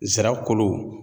Nsira kolo